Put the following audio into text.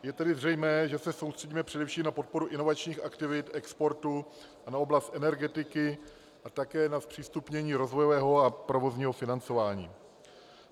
Je tedy zřejmé, že se soustředíme především na podporu inovačních aktivit, exportu a na oblast energetiky a také na zpřístupnění rozvojového a provozního financování.